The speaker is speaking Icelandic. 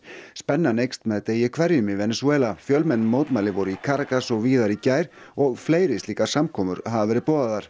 spennan eykst með degi hverjum í Venesúela fjölmenn mótmæli voru í Caracas og víðar í gær og fleiri slíkar samkomur hafa verið boðaðar